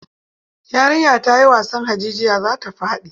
Yarinyar ta yi wasan hajijiya za ta faɗi.